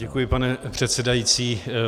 Děkuji, pane předsedající.